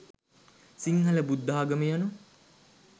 සිංහල බුද්ධාගම යනු